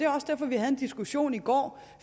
også derfor vi havde en diskussion i går